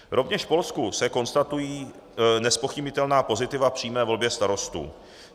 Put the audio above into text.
Rovněž v Polsku se konstatují nezpochybnitelná pozitiva přímé volby starostů.